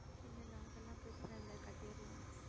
இல்லை, இல்லை அதெல்லாம் பிரச்சனை இல்லை கட்டிடலாம்